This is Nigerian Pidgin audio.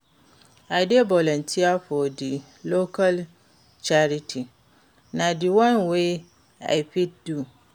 I dey volunteer for di local charity, na di one wey i fit do.